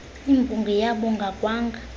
imbongi yabonga kwanga